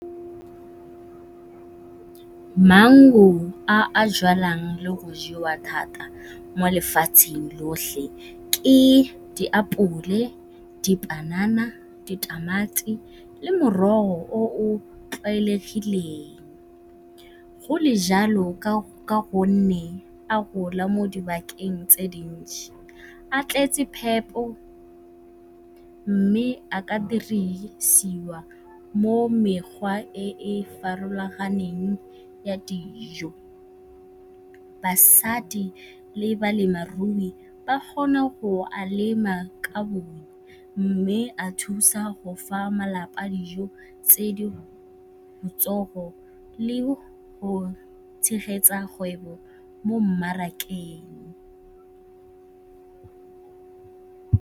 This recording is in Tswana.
Maungo a a jalwang le go jewa thata mo lefatsheng lotlhe ke diapole, dipanana, ditamati le morogo o o tlwaelegileng go le jalo ka go nne a gola mo dibakeng tse dintšhi. A tletse phepo mme a ka dirisiwa mo mekgwa e e farologaneng ya dijo. Basadi le balemarui ba kgone go a lema ka bongwe mme a thusa go fa malapa dijo tse di le go tshegetsa kgwebo mo mmarakeng.